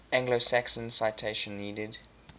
anglo saxons citation needed